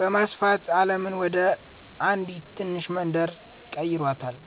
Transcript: በማስፋት ዓለምን ወደ አንዲት ትንሽ መንደር ቀይሯታል።"